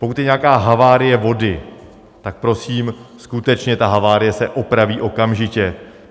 Pokud je nějaká havárie vody, tak prosím, skutečně ta havárie se opraví okamžitě.